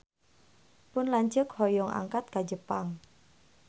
Pun lanceuk hoyong angkat ka Jepang